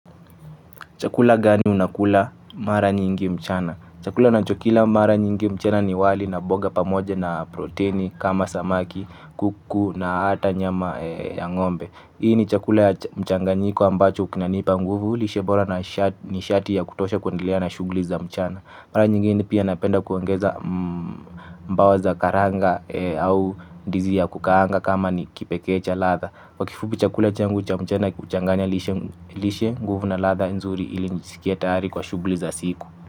Chakula gani unakula mara nyingi mchana? Chakula nachokila mara nyingi mchana ni wali na boga pamoja na proteini kama samaki, kuku na hata nyama ya ng'ombe. Hii ni chakula ya mchanganyiko ambacho kinanipa nguvu, lishe bora ni shati ya kutosha kuendelea na shugli za mchana. Mara nyingine pia napenda kuongeza mbawa za karanga au ndizi ya kukaanga kama ni kipekee cha ladha. Kwa kifubi chakula changu cha mchana huchanganya lishe nguvu na ladha nzuri ili njisikie tayari kwa shuguli za siku.